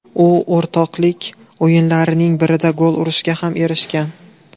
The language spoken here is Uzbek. U o‘rtoqlik o‘yinlarining birida gol urishga ham erishgan .